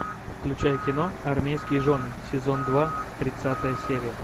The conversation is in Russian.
включай кино армейские жены сезон два тридцатая серия